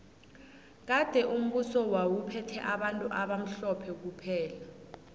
kade umbuso wawu phethe bantu abamhlophe kuphela